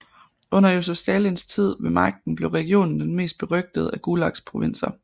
Under Josef Stalins tid ved magten blev regionen den mest berygtede af Gulags provinser